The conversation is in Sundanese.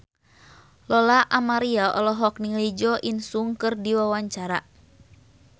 Lola Amaria olohok ningali Jo In Sung keur diwawancara